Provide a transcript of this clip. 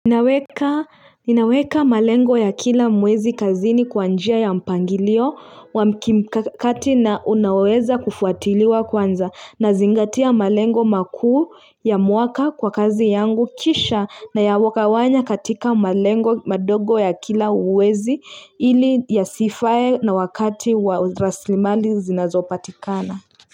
Ninaweka ninaweka malengo ya kila mwezi kazini kwa njia ya mpangilio wa mikakati na unaoweza kufuatiliwa kwanza nazingatia malengo makuu ya mwaka kwa kazi yangu kisha nayagawanya katika malengo madogo ya kila mwezi ili ya sifae na wakati wa raslimali zinazo patikana.